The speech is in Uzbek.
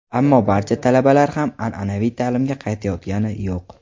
Ammo barcha talabalar ham an’anaviy ta’limga qaytayotgani yo‘q.